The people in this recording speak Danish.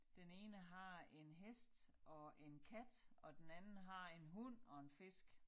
Den ene har en hest og en kat og den anden har en hund og en fisk